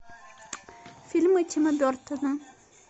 фильмы тима бертона